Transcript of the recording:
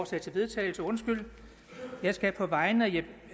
til vedtagelse jeg skal på vegne